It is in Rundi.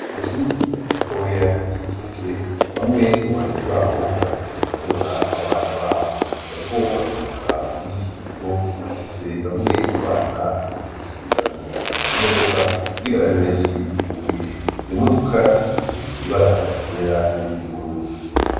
kw' ishuri ritoya ry'incuke bamwe mu barezi babo baje gutora abana babo, bariko basohoka muri ico kigo bafise bamwe mu bana muntoki barindiriye imodoka ,kugira babe benshi burire, iyo modoka isize ibara ryera n'iryubururu.